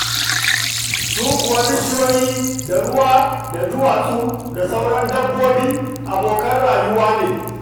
Su kuwa bishiyoyi da ruwa da duwatsu da sauran dabbobi, abokan rayuwa ne.